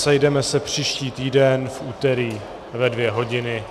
Sejdeme se příští týden v úterý ve dvě hodiny.